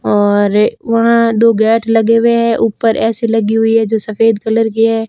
और वहां दो गेट लगे हुए हैं ऊपर ए_सी लगी हुई है जो सफेद कलर की है।